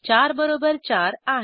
4 बरोबर 4 आहे